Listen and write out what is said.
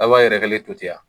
A b'a yɛrɛgɛlen to ten wa?